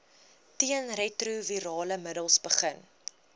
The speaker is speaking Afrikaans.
teenretrovirale middels begin